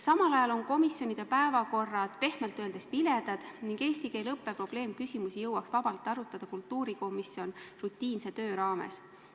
Samal ajal on komisjonide päevakorrad pehmelt öeldes viledad, eesti keele õppe probleemküsimusi jõuaks vabalt arutada kultuurikomisjon rutiinse töö raames.